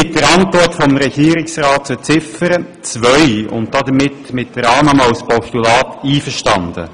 Wir sind mit der Antwort des Regierungsrats zu Ziffer 2 und damit mit der Annahme als Postulat einverstanden.